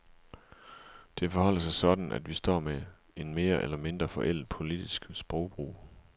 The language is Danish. Det forholder sig sådan, at vi står med en mere eller mindre forældet politisk sprogbrug.